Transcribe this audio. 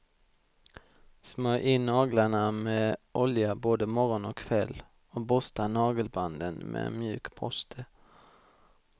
Smörj in naglarna med olja både morgon och kväll och borsta nagelbanden med en mjuk borste.